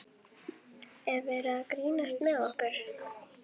Er verið að grínast með okkur?